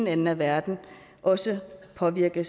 ende af verden også påvirker